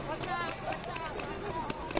Çıxart! Çıxart! Çıxart!